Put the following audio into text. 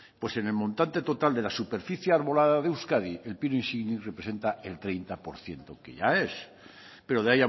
pues en el montante total de la superficie arbolada de euskadi el pino insignis representa el treinta por ciento que ya es pero de